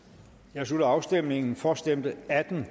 jeg slutter afstemningen for stemte atten el